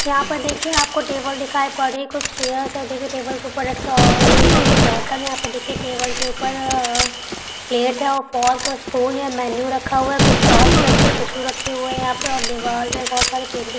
यहाँ पर देखिये आप को टेबल दिखाई पड़ रही है कुछ चेयरस है देखिये टेबल के ऊपर एक ग्रीन कलर बोतल देखिये टेबल के ऊपर प्लेट है और मेनू रखा हुआ हैं कुछ शॉट्स रखे है टिश्यू रखे है यहाँ पे दीवाल में बहोत सारे पेंटिंग --